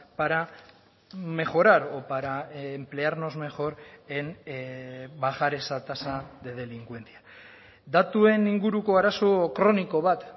para mejorar o para emplearnos mejor en bajar esa tasa de delincuencia datuen inguruko arazo kroniko bat